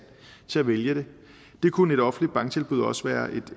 til at vælge det det kunne et offentligt banktilbud også være